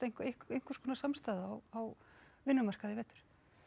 einhverskonar samstaða á vinnumarkaði í vetur